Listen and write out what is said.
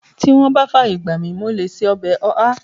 Tí wọ́n bá fàyè gbà mi, mo lè ṣe ọbẹ̀ ọ̀há